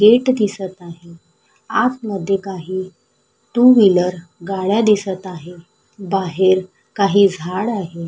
Gate दिसत आहे आतमध्ये काही टू व्हीलर गाड्या दिसत आहे बाहेर काही झाड आहे.